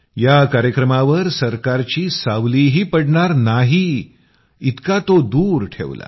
या कार्यक्रमावर सरकारची सावलीही पडणार नाही इतका तो दूर ठेवला